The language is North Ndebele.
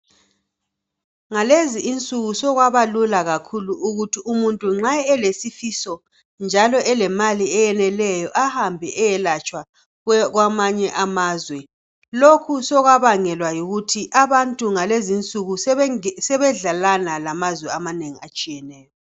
Ngalezi insuku sokwabalula kakhulu ukuthi umuntu nxa elesifiso njalo elemali eyeneleyo ahambe eyelatshwa kwamanye amazwe lokhu sokwabangelwa yikuthi abantu ngalezinsuku sebedlelana lamazwe amanengi atshiyeyo.